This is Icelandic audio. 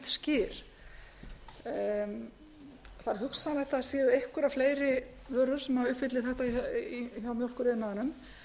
skyr það er hugsanlegt að það séu einhverjar fleiri vörur sem uppfylli þetta í mjólkuriðnaðinum